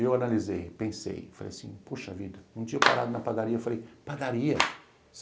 Eu analisei, pensei, falei assim, poxa vida, um dia parado na padaria, falei, padaria?